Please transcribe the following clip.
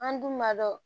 An dun b'a dɔn